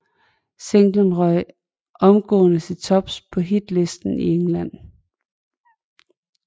Singlen røg omgående til tops på hitlisten i England